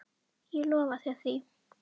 Ég lofa þér því.